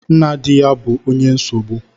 Nna di ya bu onye nsogbu